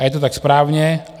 A je to tak správně.